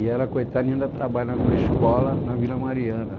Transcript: E ela, coitada, ainda trabalha numa escola na Vila Mariana.